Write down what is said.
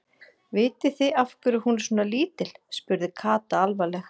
Vitið þið af hverju hún er svona lítil? spurði Kata alvarleg.